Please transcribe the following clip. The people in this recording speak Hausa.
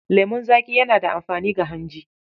Lemon zaƙi yana da amfani ga hanji.